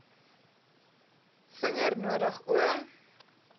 vinger nodig o